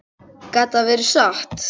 Gat þetta verið satt?